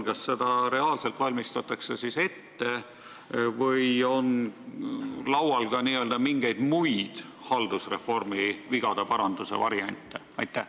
Kas seda reaalselt valmistatakse ette või on laual ka mingeid muid haldusreformi vigade paranduse variante?